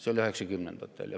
See oli üheksakümnendatel.